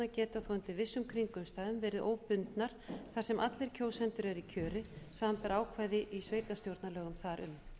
geta þó undir vissum kringumstæðum verið óbundnar þar sem allir kjósendur eru í kjöri samanber ákvæði í sveitarstjórnarlögum þar um